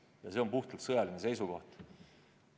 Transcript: Ja see on puhtalt sõjaline seisukoht.